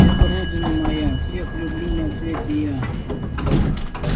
это родина моя всех люблю на свете я